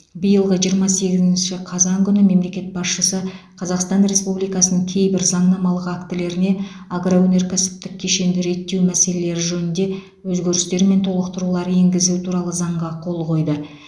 биылғы жиырма сегізінші қазан күні мемлекет басшысы қазақстан республикасының кейбір заңнамалық актілеріне агроөнеркәсіптік кешенді реттеу мәселелері жөнінде өзгерістер мен толықтырулар енгізу туралы заңға қол қойды